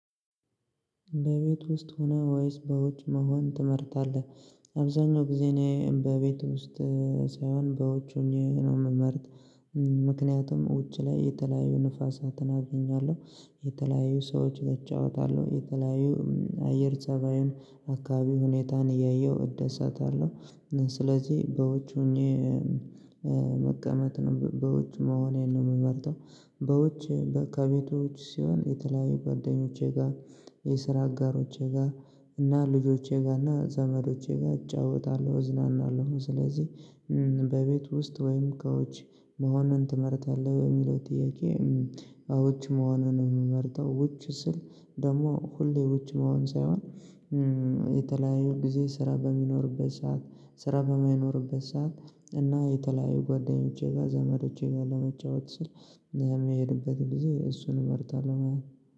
በቤት ውስጥ ሆነ ወይስ በውጭ መሆን ትመርጣለህ? አብዛኛው ጊዜ ነው በቤት ውስጥ ሳይሆን በውጭ ሆኜ ነው የምመርጥ። ምክንያቱም ውጭ ላይ የተለያዩ ንፋሳትን አገኛለሁ የተለያዩ ሰዎች እጫወታለሁ የተለያዩ አየር ፅባዩን አካባቢ ሁኔታን እያየሁ እደሰታለሁ ስለዚህ በውጭ ሆኜ መቀመጥ ነው በውጭ መሆኔን ነው የምመርጠው። በውጭ በአካባቢዎች ሲሆን የተለያዩ ጓደኞቼ ጋር የስራ አጋሮቼ ጋር እና ልጆቼ ጋር እና ዘመዶቼ ጋር እጫወታለሁ እዝናናለሁ ስለዚህ በቤት ውስጥ ወይም ከውጭ መሆንን ትመርታለህ በሚለው ጥያቄ ከውጭ መሆኑን ምመርጠው ውጭ ስል ደግሞ ሁሌ ውጭ መሆን ሳይሆን የተለያዩ ጊዜ ስራ በሚኖርበት ሰዓት ስራ በማይኖርበት ሰዓት እና የተለያዩ ጓደኞቼ ጋር ዘመዶቼ ጋር ለመጫወት ስል የሚሄድበትን ጊዜ እሱን እመርጣለሁ ማለት ነው።